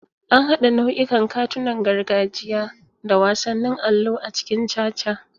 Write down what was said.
An haɗa nau'ikan katunan gargajiya da wasannin allo a cikin caca.